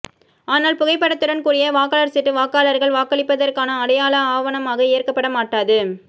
ஆனால் புகைப்படத்துடன் கூடிய வாக்காளா் சீட்டு வாக்காளா்கள் வாக்களிப்பதற்கான அடையாள ஆவணமாக ஏற்கப்பட மாட்டாது